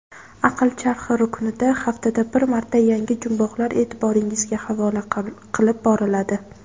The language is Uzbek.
"Aql charxi" ruknida haftada bir marta yangi jumboqlar eʼtiboringizga havola qilib boriladi.